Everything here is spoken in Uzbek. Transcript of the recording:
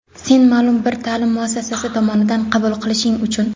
sen ma’lum bir ta’lim muassasasi tomonidan qabul qilinishing uchun.